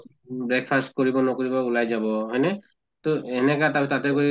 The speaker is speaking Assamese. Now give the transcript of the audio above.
breakfast কৰিব নকৰিব ওলাই যাব, হয় নে? তʼ এনেকা তাতে গৈ